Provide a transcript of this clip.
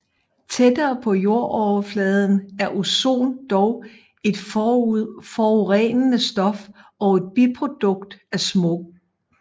Tættere på jordoverfladen er ozon dog et forurenende stof og et biprodukt af smog